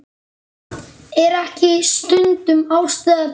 Er ekki stundum ástæða til?